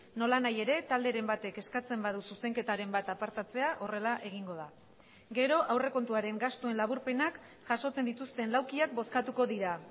nolanahi ere talderen batek eskatzen badu zuzenketaren bat apartatzea horrela egingo da gero aurrekontuaren gastuen laburpenak jasotzen dituzten laukiak bozkatuko dira